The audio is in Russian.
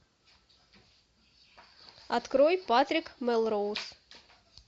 открой патрик мелроуз